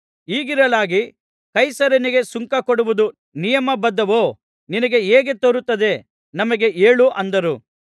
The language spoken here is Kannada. ಹೀಗಿರಲಾಗಿ ಕೈಸರನಿಗೆ ಸುಂಕ ಕೊಡುವುದು ನಿಯಮ ಬದ್ಧವೋ ನಿನಗೆ ಹೇಗೆ ತೋರುತ್ತದೆ ನಮಗೆ ಹೇಳು ಅಂದರು